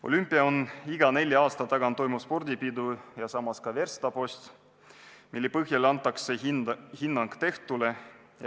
Olümpia on iga nelja aasta tagant toimuv spordipidu ja samas ka verstapost, mille põhjal antakse hinnang tehtule.